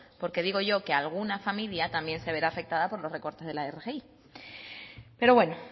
porque digo yo que alguna familia también se verá afectada por los recortes de la rgi pero bueno